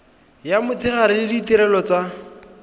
ya motshegare le ditirelo tsa